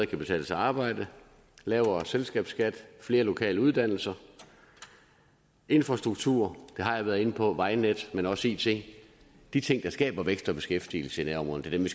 kan betale sig at arbejde lavere selskabsskat flere lokale uddannelser infrastruktur har jeg været inde på vejnet men også it de ting der skaber vækst og beskæftigelse i nærområderne